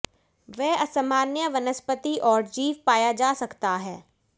वे असामान्य वनस्पति और जीव पाया जा सकता है